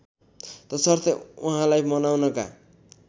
तसर्थ उहाँलाई मनाउनका